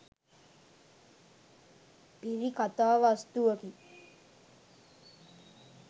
පිරි කතා වස්තුවකි.